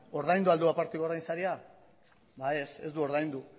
ordaindu al du aparteko ordainsaria ba ez ez du ordaindu